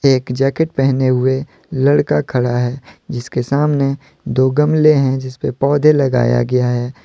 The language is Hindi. एक जैकेट पहने हुए लड़का खड़ा हैजिसके सामने दो गमले हैं जिसपे पौधे लगाया गया है।